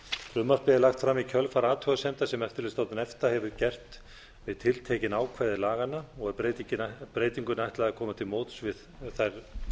frumvarpið er lagt fram í kjölfar athugasemda sem eftirlitsstofnun efta hefur gert við tiltekin ákvæði laganna og er breytingunni ætlað að koma til móts við þær